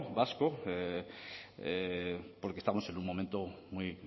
vasco porque estamos en un momento muy